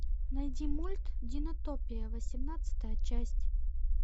найди мульт динотопия восемнадцатая часть